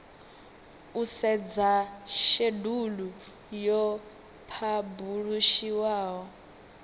u sedza shedulu yo phabulishiwaho